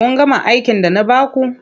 Kun gama aikin da na ba ku.